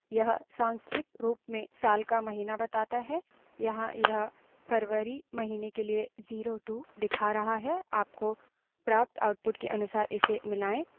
यह सांख्यिक रूप में साल का महीना बताता है यहाँ यह फरवरी महीने के लिए 02 दिखा रहा है आपको प्राप्त output के अनुसार इसे मिलायें